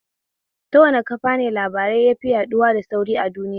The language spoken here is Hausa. Ta wane kafane labarai yafi yaɗuwa da sauri a duinya?